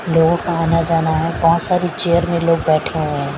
लोगों का आना जाना है बहुत सारी चेयर में लोग बैठे हुए हैं।